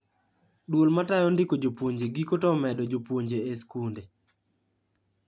Duol matayo ndiko jupuoje giko to omedo jopuonje e skunde